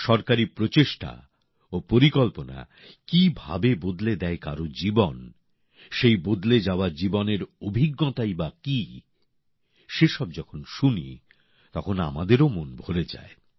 সরকারি প্রচেষ্টা ও পরিকল্পনা কিভাবে বদলে দেয় কারো জীবন সেই বদলে যাওয়া জীবনের অভিজ্ঞতাই বা কী সেসব যখন শুনি তখন আমাদেরও মন ভরে যায়